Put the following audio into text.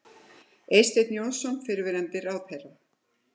Eysteinn Jónsson, fyrrverandi ráðherra.